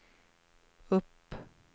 upp